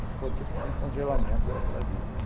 Aí ficou tipo um congelamento daquela dívida, né.